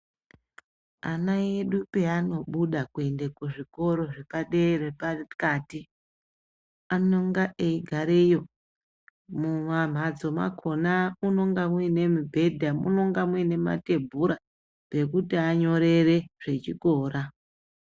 Ana edu pavanobuda kuende kuzvikoro zvepadera pakati anonga eigareyo mumamhatso makona munonga muine mibhedha munonga muine mathebhura ekuti anyorere zvechikora.